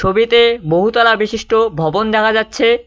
ছবিতে বহুতলা বিশিষ্ট ভবন দেখা যাচ্ছে।